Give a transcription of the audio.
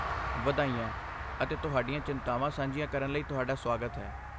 ਵਧਾਈਆਂ ਅਤੇ ਤੁਹਾਡੀਆਂ ਚਿੰਤਾਵਾਂ ਸਾਂਝੀਆਂ ਕਰਨ ਲਈ ਤੁਹਾਡਾ ਸੁਆਗਤ ਹੈ।